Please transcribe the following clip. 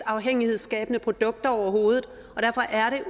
afhængighedsskabende produkter overhovedet og derfor er